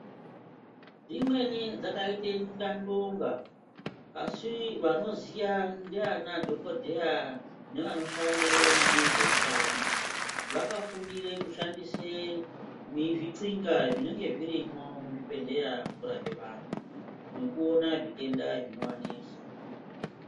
Imweni dzakaita ndandonga asi vanoziya ndaana dhokodheya nevanoshande munezve utano, vakafundire kushandise zvixinga zvinenge zvirimo muzvibhedhlera kurape vantu nekuona zvitenda zvinovanetsa.